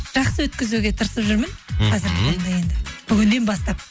жақсы өткізуге тырысып жүрмін бүгіннен бастап